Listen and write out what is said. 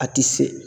A ti se